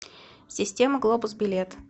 система глобус билет